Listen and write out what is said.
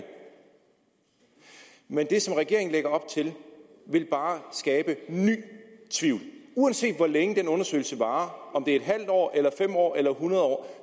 men det som regeringen lægger op til vil bare skabe ny tvivl uanset hvor længe den undersøgelse varer om det er en halv år eller fem år eller hundrede år